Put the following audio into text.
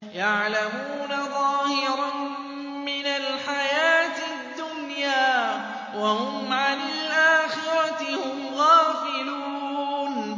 يَعْلَمُونَ ظَاهِرًا مِّنَ الْحَيَاةِ الدُّنْيَا وَهُمْ عَنِ الْآخِرَةِ هُمْ غَافِلُونَ